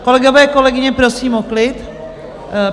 Kolegové, kolegyně, prosím o klid.